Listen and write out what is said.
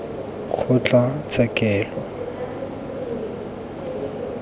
kgotlatshekelokgolo